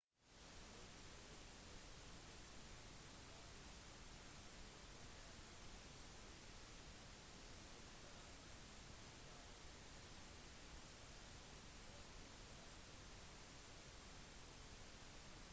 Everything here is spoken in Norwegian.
det var også protester i paris sofia i bulgaria vilnius i litauen valetta i malta tallinn i estland edinburgh og glasgow i skottland